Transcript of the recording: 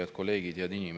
Head kolleegid!